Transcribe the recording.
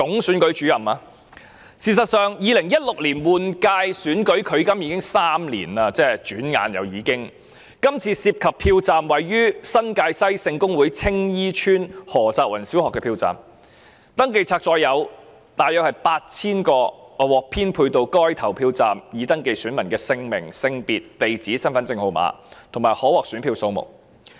事實上 ，2016 年立法會換屆選舉轉眼距今已3年，今次涉及的票站位於新界西選區聖公會青衣邨何澤芸小學，選民登記冊載有獲編配到該投票站約 8,000 名已登記選民的姓名、性別、地址、身份證號碼，以及可獲選票數目。